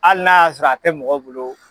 Hali n'a y'a sɔrɔ a tɛ mɔgɔ bolo